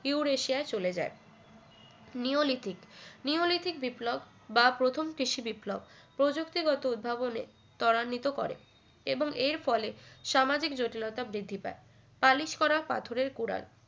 Eurasia চলে যায় neolithic neolithic বিপ্লব বা প্রথম কৃষি বিপ্লব প্রযুক্তিগত উদ্ভাবনে ত্বরান্বিত করে এবং এর ফলে সামাজিক জটিলতা বৃদ্ধি পায় পালিশ করা পাথরের কুড়াল